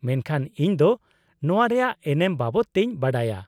-ᱢᱮᱱᱠᱷᱟᱱ ᱤᱧ ᱫᱚ ᱱᱚᱶᱟ ᱨᱮᱭᱟᱜ ᱮᱱᱮᱢ ᱵᱟᱵᱚᱫᱛᱮᱧ ᱵᱟᱰᱟᱭᱟ ᱾